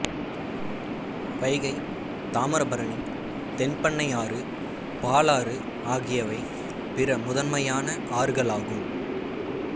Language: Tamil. வைகை தாமிரபரணி தென்பெண்ணை ஆறு பாலாறு ஆகியவை பிற முதன்மையான ஆறுகளாகும்